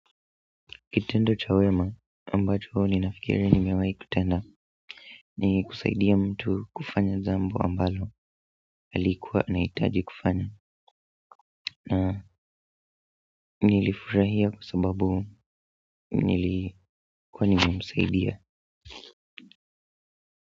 Kitendo cha wema ambacho ninafikiri nimewahi kutenda ni kusaidia mtu kufanya jambo ambalo alikuwa na hitaji kufanya na nilifurahia kusababu nilikuwa nimemsaidia.